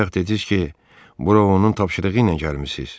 Bayaq dediniz ki, bura onun tapşırığı ilə gəlmisiz.